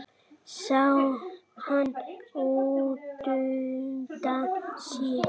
Sá hann útundan sér.